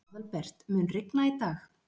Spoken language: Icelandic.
Aðalbert, mun rigna í dag?